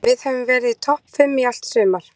En við höfum verið í topp fimm í allt sumar.